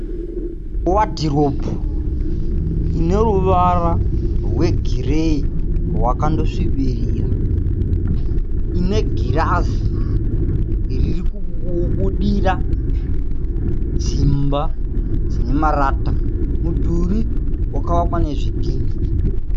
Wadhiropu ineruvara rwegireyi rwakandosvibirira. Ine girazi ririkubudira dzimba dzine marata.. Mudhuri wakavakwa nezvidhinha.